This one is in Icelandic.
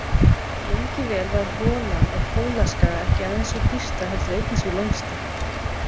Lengi vel var holan á Kólaskaga ekki aðeins sú dýpsta heldur einnig sú lengsta.